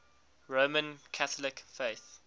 roman catholic faith